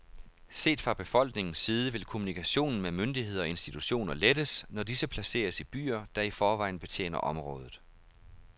Set fra befolkningens side vil kommunikationen med myndigheder og institutioner lettes, når disse placeres i byer, der i forvejen betjener området.